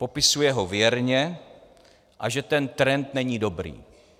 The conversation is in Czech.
Popisuje ho věrně, a že ten trend není dobrý.